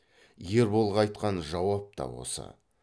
ерболға айтқан жауап та осы